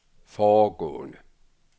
foregående